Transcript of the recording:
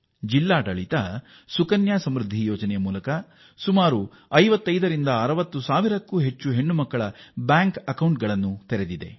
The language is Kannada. ಜಿಲ್ಲಾಡಳಿತಗಳು ಸುಕನ್ಯಾ ಸಮೃದ್ಧಿ ಯೋಜನೆಯಡಿ 5560 ಸಾವಿರ ಬ್ಯಾಂಕ್ ಖಾತೆಗಳನ್ನು ಹೆಣ್ಣು ಮಗುವಿನ ಹೆಸರಲ್ಲಿ ತೆತೆದಿದ್ದಾರೆ